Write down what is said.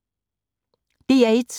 DR1